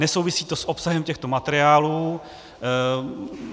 Nesouvisí to s obsahem těchto materiálů.